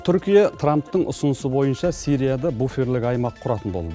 түркия трамптың ұсынысы бойынша сирияда буферлік аймақ құратын болды